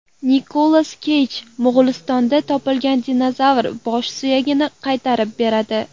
Nikolas Keyj Mo‘g‘ulistondan topilgan dinozavr bosh suyagini qaytarib beradi.